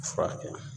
Furakɛ